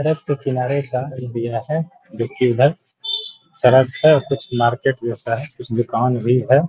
सड़क के किनारे का ये है देखिये इधर सड़क है और कुछ मार्केट जैसा है और कुछ दुकान भी है |